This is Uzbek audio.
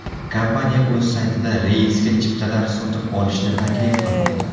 Kompaniya o‘z saytida reysga chiptalar sotib olishni taklif qilmoqda.